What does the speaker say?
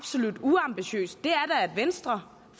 at venstre